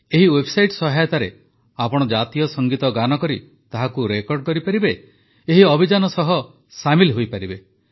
ଏହି ୱେବସାଇଟ ସହାୟତାରେ ଆପଣ ଜାତୀୟ ସଙ୍ଗୀତ ଗାନ କରି ତାହାକୁ ରେକର୍ଡ଼ କରିପାରିବେ ଏହି ଅଭିଯାନ ସହ ସାମିଲ ହୋଇପାରିବେ